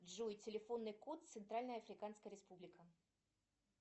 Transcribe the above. джой телефонный код центральная африканская республика